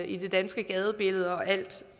i det danske gadebillede og at